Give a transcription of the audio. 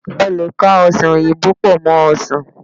a lè ka ọsán oyinbo pò mó ọsàn